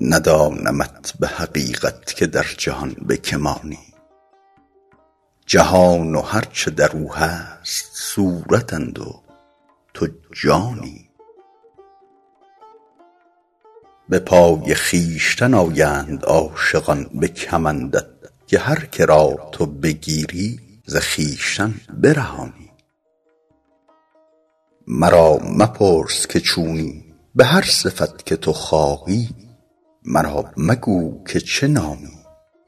ندانمت به حقیقت که در جهان به که مانی جهان و هر چه در او هست صورتند و تو جانی به پای خویشتن آیند عاشقان به کمندت که هر که را تو بگیری ز خویشتن برهانی مرا مپرس که چونی به هر صفت که تو خواهی مرا مگو که چه نامی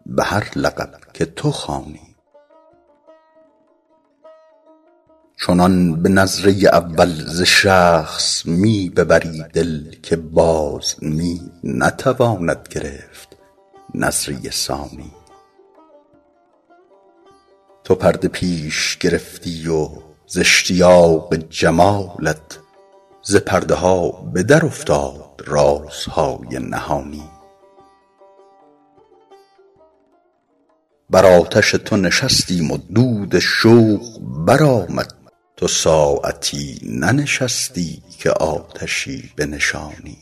به هر لقب که تو خوانی چنان به نظره اول ز شخص می ببری دل که باز می نتواند گرفت نظره ثانی تو پرده پیش گرفتی و ز اشتیاق جمالت ز پرده ها به درافتاد رازهای نهانی بر آتش تو نشستیم و دود شوق برآمد تو ساعتی ننشستی که آتشی بنشانی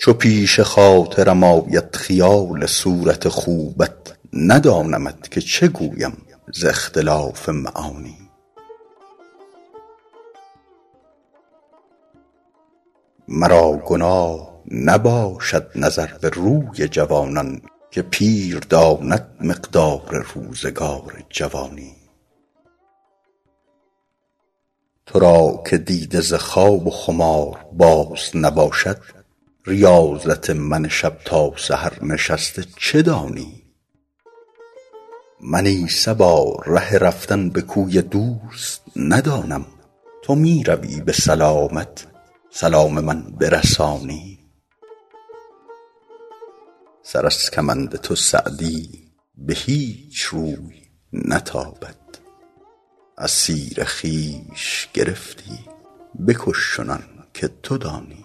چو پیش خاطرم آید خیال صورت خوبت ندانمت که چه گویم ز اختلاف معانی مرا گناه نباشد نظر به روی جوانان که پیر داند مقدار روزگار جوانی تو را که دیده ز خواب و خمار باز نباشد ریاضت من شب تا سحر نشسته چه دانی من ای صبا ره رفتن به کوی دوست ندانم تو می روی به سلامت سلام من برسانی سر از کمند تو سعدی به هیچ روی نتابد اسیر خویش گرفتی بکش چنان که تو دانی